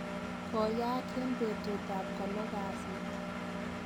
Koyaak en betut ab kolo kasit.